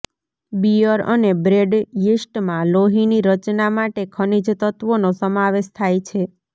Beer અને bread યીસ્ટમાં લોહીની રચના માટે ખનિજ તત્વોનો સમાવેશ થાય છે